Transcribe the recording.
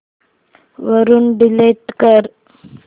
वरून डिलीट कर